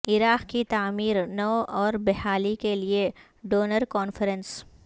عراق کی تعمیر نو اور بحالی کے لیے ڈونر کانفرنس